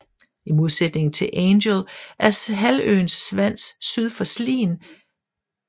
I modsætning til Angel er halvøen Svans syd for Slien stærkt præget af godsdrift